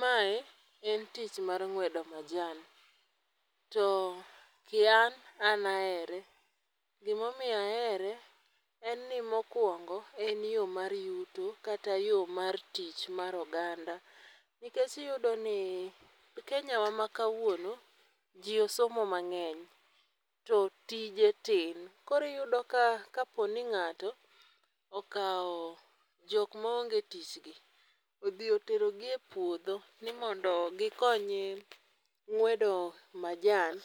Mae en tich mar ng'wedo majan, to ki an ,an ahere, gimomiyo ahere en ni mokwongo e yo mar yuto kata yo mar tich mar oganda, nikech iyudo ni e kenyawa ma kawuono, ji osomo mang'eny to tije tin. Koro iyudo ka kaponi ng'ato, okawo jok maonge tich gi, odhi oterogi e puodho ni mondo gikonye ng'wedo majan,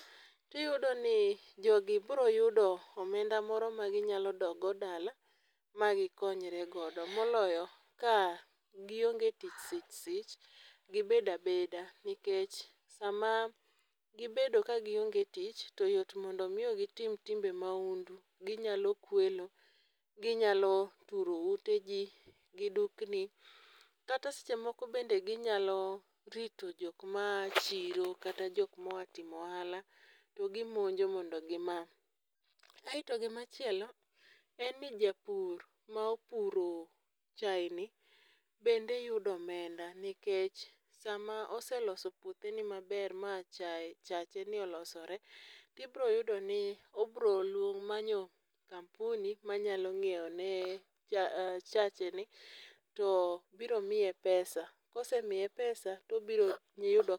tiyudo ni jogi bro yudo omenda moro maginyalo dok go dala ma gikonyre godo, moloyo ka gionge tich sich sich, gibedo abeda nikech sama gibedo ka gionge tich to yot mondo omi gitim timbe mahundu, ginyalo kwelo, ginyalo turo ute ji gi dukni. Kata seche moko bende ginyalo rito jok maa chiro kata jok moa timo ohala ,to gimonjo mondo gima. Aeto gimachielo en ni japur ma opuro chayeni bende yudo omenda nikech sama oseloso puotheni maber ma chacheni olosore, tibiro yudo ni obiro manyo kampuni manyalo nyiewone chacheni, top biro miye pesa, kosemiye pesa tobiro yudo kaka.